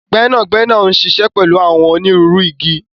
Gbẹnagbẹna n ṣíṣẹ pẹlu àwọn ónirùru ìgi.